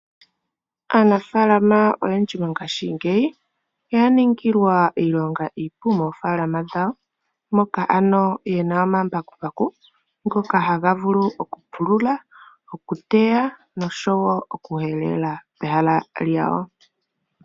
Aanafaalama oyendji mongaashingeyi oya ningilwa iilonga iipu moofaalama moka ye na omambakumbaku ngoka haga vulu okupulula, okuteya noshowoo okuhelela pehala lyawo.